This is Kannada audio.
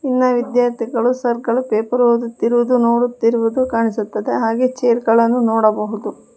ಇನ್ನ ವಿದ್ಯಾರ್ಥಿಗಳು ಸರ್ ಗಳು ಪೇಪರ್ ಓದುತ್ತಿರುವುದು ನೋಡುತ್ತಿರುವುದು ಕಾಣಿಸುತ್ತದೆ ಹಾಗೆ ಚೇರ್ ಗಳನ್ನು ನೋಡಬಹುದು.